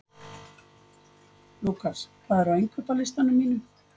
Lúkas, hvað er á innkaupalistanum mínum?